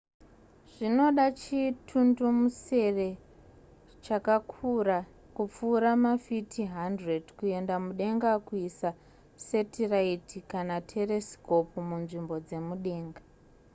zvinoda chimutundumusere chakakura kupfuura mafiti 100 kuenda mudenga kuisa setiraiti kana teresikopu munzvimbo dzemudenga